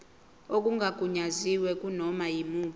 okungagunyaziwe kunoma yimuphi